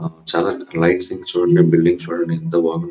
చాలా ఆ లైట్స్ ని చుడండి బిల్డింగ్స్ చుడండి ఎంత బాగుం --